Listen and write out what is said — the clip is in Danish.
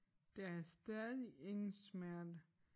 Der er stadig ingen smerte